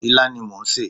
Ilá ni mò ń sè.